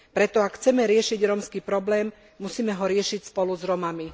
Preto ak chceme riešiť rómsky problém, musíme ho riešiť spolu s Rómami.